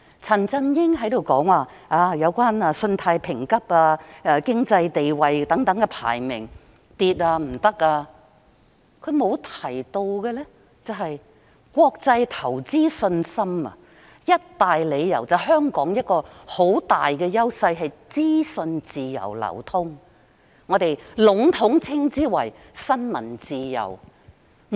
陳振英議員說香港的信貸評級及經濟地位排名下跌，糟糕了，但他沒有提到的是，我們很大的優勢是國際投資者對香港有信心，其中一大理由便是香港資訊自由流通，我們籠統稱之為新聞自由。